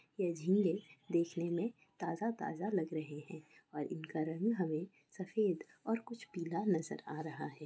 ये झींगे देखने में ताज़ा- ताज़ा लग रहे हैं। और इनका रंग हमे सफ़ेद और कुछ पीला नज़र आ रहा है।